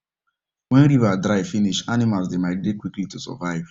wen river dry finish animals dey migrate quickly to survive